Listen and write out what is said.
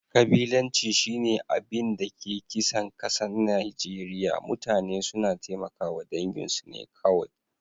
Kabilanci shi na abin da ke kisan kasan Nijeriya. Mutane suna taimaka dangin su ne kowai.